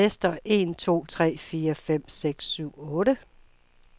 Tester en to tre fire fem seks syv otte.